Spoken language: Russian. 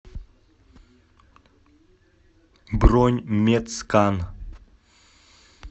бронь медскан